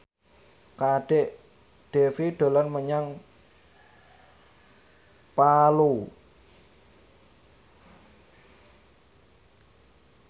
Kadek Devi dolan menyang Palu